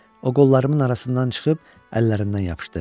O qollarımın arasından çıxıb əllərindən yapışdı.